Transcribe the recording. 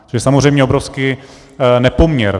To je samozřejmě obrovský nepoměr.